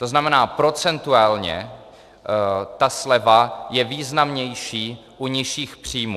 To znamená, procentuálně ta sleva je významnější u nižších příjmů.